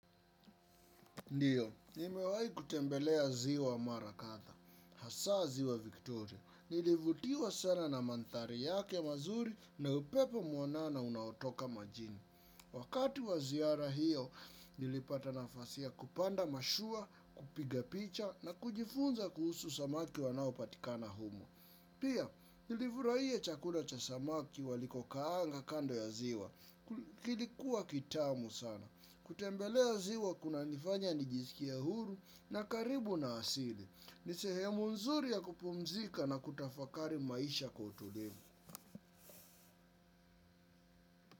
Ndiyo, nimewahi kutembelea ziwa mara kadha. Hasa ziwa Victoria, nilivutiwa sana na mandhari yake mazuri na upepo mwanana unaotoka majini. Wakati wa ziara hiyo, nilipata nafasi ya kupanda mashua, kupiga picha na kujifunza kuhusu samaki wanaopatikana humo. Pia, nilifurahia chakula cha samaki walikokaanga kando ya ziwa. Kilikuwa kitamu sana. Kutembelea ziwa kunanifanya nijisikie huru na karibu na asili. Ni sehemu nzuri ya kupumzika na kutafakari maisha kwa utulivu.